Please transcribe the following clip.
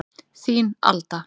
Þín, Alda.